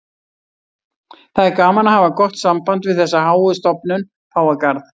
Það er gaman að hafa gott samband við þessa háu stofnun, Páfagarð.